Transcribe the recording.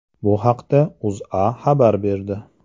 Bu haqda O‘zA xabar berdi.